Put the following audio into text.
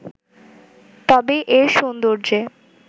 তবে এর সৌন্দর্যে